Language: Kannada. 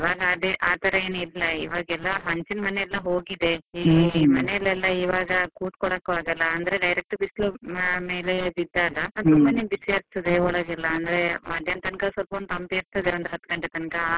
ಇವಾಗ ಆತರ ಏನೂ ಇಲ್ಲ ಇವಾಗೆಲ್ಲ ಹಂಚಿನ ಮನೆಯಲ್ಲ ಹೋಗಿದೆ ಈಗ ಈವಾಗ ಕುತ್ಕೊಳಕು ಆಗಲ್ಲ, ಅಂದ್ರೆ direct ಬಿಸ್ಲು ಮನೆಯ ಮೇಲೆ ಬಿದ್ದಾಗ ಬಿಸಿ ಆಗ್ತದೆ ಒಳಗಡೆ, ಅಂದ್ರೆ ಮಧ್ಯಾಹ್ನ ತನಕ ಸ್ವಲ್ಪ ಒಂದು ತಂಪು ಇರ್ತದೆ ಒಂದು ಹತ್ತು ಗಂಟೆ ತನಕ.